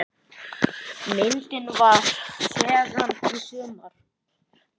Myndin var tekin í sumar.